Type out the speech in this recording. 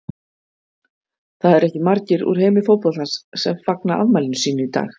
Það eru ekki margir úr heimi fótboltans sem fagna afmælinu sínu í dag.